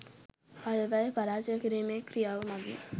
අයවැය පරාජය කිරිමේ ක්‍රියාව මගින්